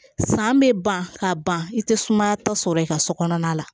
San bɛ ban ka ban i tɛ sumayatɔ sɔrɔ i ka so kɔnɔna la